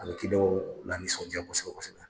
A bɛ lanisɔnja kosɛbɛ kosɛbɛ.